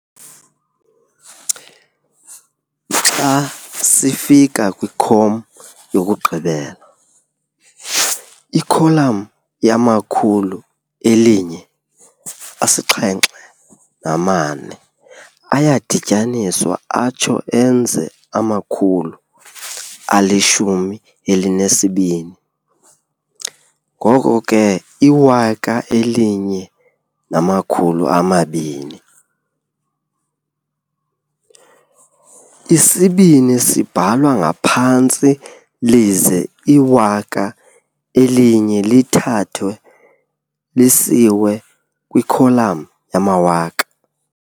xa sifika kwikhom yokugqibela, ikholam yamakhulu eli-1, asi-7 nama-4 ayadityaniswa atsho enze amakhulu ali-12, ngoko ke iwaka eli-1 namakhulu ama-2, isi-2 sibhalwa ngaphantsi lize iwaka eli-1 lithwalwe lisiwe kwikholam yamawaka.